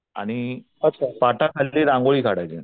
आणि पाटाखाली रांगोळी काढायची